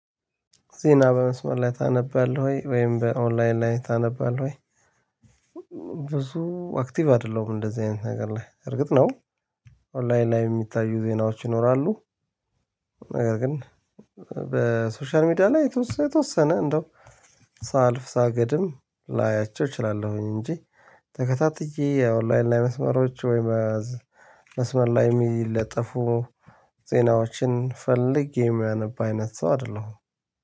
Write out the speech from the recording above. ዜና በመስመር ላይ ታነባለህ ወይ ወይም በ ኦንላይን ላይ ታነባለህ ወይ? ብዙ አክቲቭ አደለሁም እንደዛ አይነት ነገር ላይ እርግጥ ነው። ኦንላይን ላይ የሚታዩ ዜናዎች ይኖራሉ። ነገር ግን በ ሶሻል ሚዲያ ላይ የተወሰነ እንደው ሳልፍ ሳገድም ላያቸው እቺላለሁኝ እንጂ። ተከታትዬ የ ኦንላይን መስመሮች ወይ በዚህ መስመር ላይም የሚለጠፉ ዜናዎችን ፈልጌ የማነብ ሰው አደለሁም